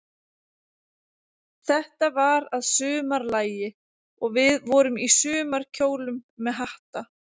Þetta var að sumarlagi, og við vorum í sumarkjólum með hatta.